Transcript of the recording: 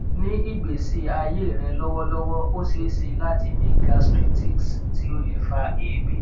ni igbesi aye re lowolowo o sese lati ni gastritis ti o le fa eebi